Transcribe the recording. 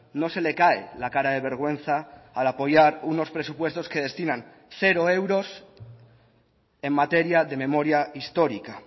no se le cae la cara de vergüenza al apoyar unos presupuestos que destinan cero euros en materia de memoria histórica